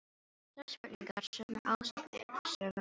Sömu spurningar, sömu ásakanir, sömu aðferðir.